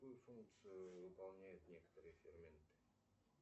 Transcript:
какую функцию выполняют некоторые ферменты